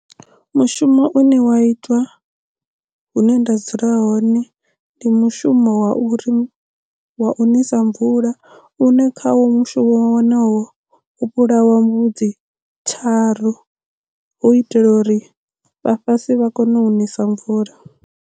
Mushumo une wa itwa hune nda dzula hone ndi mushumo wa uri wa u nisa mvula une kha wo mushumo wonowo u vhulawa mbudzi tharu hu itela uri vha fhasi vha kone u nisa mvula.